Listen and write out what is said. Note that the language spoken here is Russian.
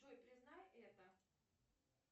джой признай это